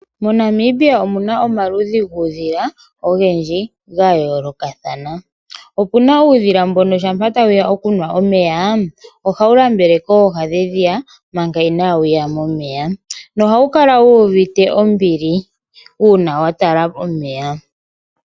moNamibia omuna omaludhi ngudhila ongendji gayoloka thana, opuna uudhila mbono shapa tawuya okunwa omeya ohawu lambele koha dhedhiya maka inawuya momeya nohawukala wuvite ombili una watala omeya.